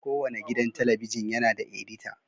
Kowane gidan talabijin yana da edita.